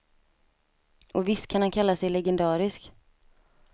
Och visst kan han kalla sig legendarisk.